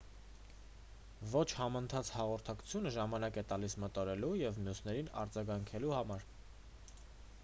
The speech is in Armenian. ոչ համընթաց հաղորդակցությունը ժամանակ է տալիս մտորելու և մյուսներին արձագանքելու համար